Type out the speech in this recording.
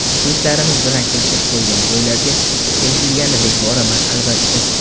Muxlislarimiz bilan kelishib qo‘ygan to‘ylarga, kelishilganidek boraman, albatta.